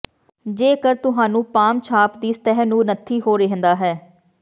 ਜੇਕਰ ਤੁਹਾਨੂੰ ਪਾਮ ਛਾਪ ਦੀ ਸਤਹ ਨੂੰ ਨੱਥੀ ਹੋ ਰਹਿੰਦਾ ਹੈ